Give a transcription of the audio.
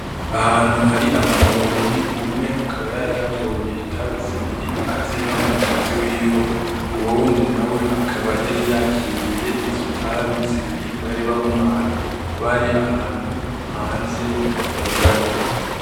Ahantu hari abantu babiri umwe akaba yaratoye itabi zibiri aziha mugenzi wiwe uwo wundi nawe akaba yari yakiriye izo tabi zibiri bari bamuhaye bari ahantu hanze hatugaye.